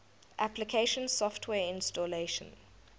application software installation